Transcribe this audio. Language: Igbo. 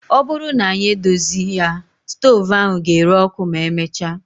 Ọ bụrụ na anyị edozi ya, stoovu ahụ ga-ere ọkụ ma emechaa